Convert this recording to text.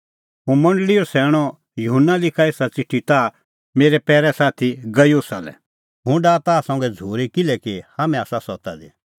हुंह मंडल़ीओ सैणअ युहन्ना लिखा एसा च़िठी ताह मेरै पैरै साथी गयुसा लै हुंह डाहा ताह संघै झ़ूरी किल्हैकि हाम्हैं आसा सत्ता दी